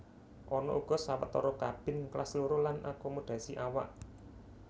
Ana uga sawetara kabin Kelas Loro lan akomodasi awak